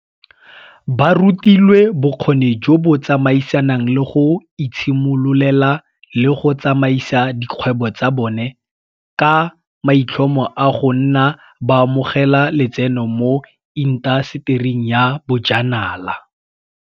Ba rutilwe bokgoni jo bo tsamaisanang le go itshimololela le go tsamaisa dikgwebo tsa bone, ka maitlhomo a go nna baamogela letseno mo intasetering ya bojanala.